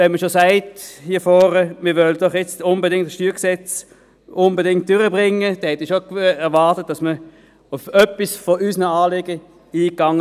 Wenn man hier vorne schon sagt, man wolle dieses StG unbedingt durchbringen, dann hätte ich schon erwartet, dass man auf einige unserer Anliegen eingeht.